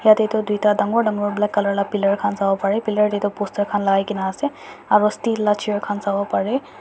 jatte tu duita dagur dagur bala colour vala pillar khan sabo pare pillar te tu poster khan lagai kini ase aru steel la chair khan sabo pare.